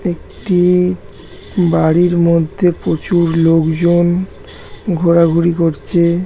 একটি-ই বাড়ির মধ্যে প্রচুর লোকজন ঘোরাঘুরি করছে।